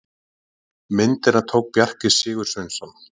Myndina tók Bjarki Sigursveinsson.